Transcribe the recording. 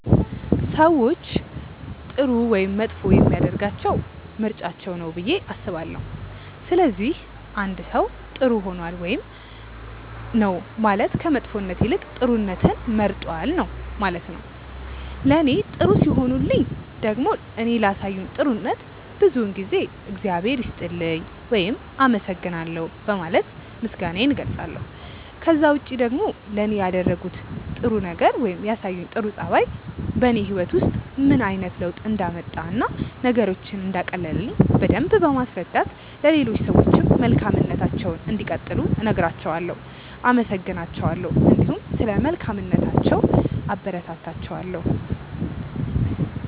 ሰዎችን ጥሩ ወይም መጥፎ የሚያደርጋቸው ምርጫቸው ነው ብዬ አስባለሁ። ስለዚህ አንድ ሰው ጥር ሆኗል ውይም ነው ማለት ከመጥፎነት ይልቅ ጥሩነትን መርጧል ነው ማለት ነው። ለኔ ጥሩ ሲሆኑልኝ ደግሞ እኔ ላሳዩኝ ጥሩነት ብዙውን ጊዜ እግዚአብሔር ይስጥልኝ ውይም አመሰግናለሁ በማለት ምስጋናዬን እገልጻለሁ። ከዛ ውጪ ደግሞ ለኔ ያደረጉት ጥረት ነገር ወይም ያሳዩኝ ጥሩ ጸባይ በኔ ህይወት ውስጥ ምን አይነት ለውጥ እንዳመጣ እና ነገሮችን እንዳቀለለልኝ በደምብ በማስረዳት ለሌሎች ሰዎችም መልካምነታቸውን እንዲቀጥሉ እነግራቸዋለው፣ አመሰግናቸዋለሁ እንዲሁም ስለ መልካምነታቸው አበረታታቸዋለሁ።